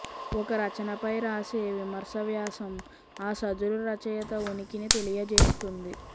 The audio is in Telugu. ఒక రచనపై రాసే విమర్శావ్యాసం ఆ సదరు రచయిత ఉనికిని తెలియజేస్తుంది